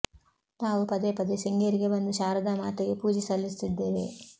ತಾವು ಪದೇ ಪದೇ ಶೃಂಗೇರಿಗೆ ಬಂದು ಶಾರದಾ ಮಾತೆಗೆ ಪೂಜೆ ಸಲ್ಲಿಸುತ್ತಿದ್ದೇವೆ